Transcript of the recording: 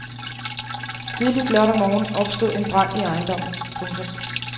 Tidligt lørdag morgen opstod en brand i ejendommen. punktum